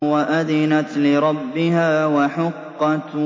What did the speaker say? وَأَذِنَتْ لِرَبِّهَا وَحُقَّتْ